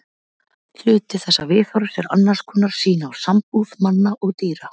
Hluti þessa viðhorfs er annars konar sýn á sambúð manna og dýra.